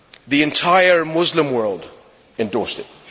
The entire Muslim world endorsed it.